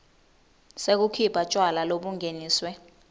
sekukhipha tjwala lobungeniswe